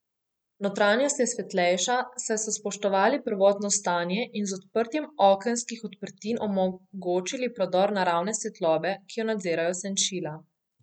Notranjost je svetlejša, saj so spoštovali prvotno stanje in z odprtjem okenskih odprtin omogočili prodor naravne svetlobe, ki jo nadzirajo senčila.